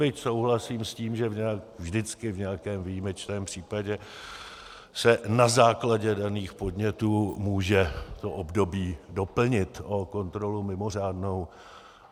Byť souhlasím s tím, že vždycky v nějakém výjimečném případě se na základě daných podnětů může to období doplnit o kontrolu mimořádnou.